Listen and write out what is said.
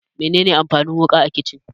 Mene ne amfanin wuƙa a kicin?